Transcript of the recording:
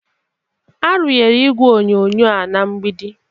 A runyere igwe onyonyo a na mgbidi.